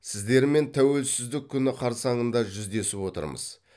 сіздермен тәуелсіздік күні қарсаңызда жүздесіп отырмыз